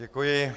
Děkuji.